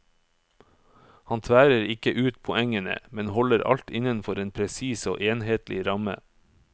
Han tværer ikke ut poengene, men holder alt innenfor en presis og enhetlig ramme.